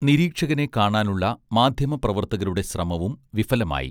നിരീക്ഷകനെ കാണാനുള്ള മാധ്യമപ്രവർത്തകരുടെ ശ്രമവും വിഫലമായി